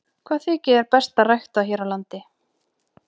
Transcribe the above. Hvað þykir þér best að rækta hér á landi?